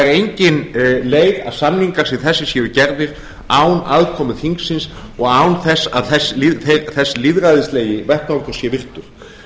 engin leið að samningar sem þessi séu gerðir án aðkomu þingsins og án þess að þess lýðræðislegi vettvangur sé virtur